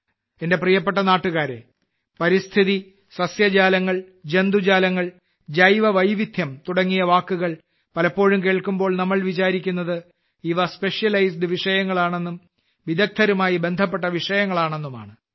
എന്റെ പ്രിയപ്പെട്ട നാട്ടുകാരേ പരിസ്ഥിതി സസ്യജാലങ്ങൾ ജന്തുജാലങ്ങൾ ജൈവ വൈവിധ്യം തുടങ്ങിയ വാക്കുകൾ പലപ്പോഴും കേൾക്കുമ്പോൾ ചിലർ വിചാരിക്കുന്നത് ഇവ സ്പെഷ്യലൈസ് വിഷയങ്ങളാണെന്നും വിദഗ്ധരുമായി ബന്ധപ്പെട്ട വിഷയങ്ങളാണെന്നുമാണ്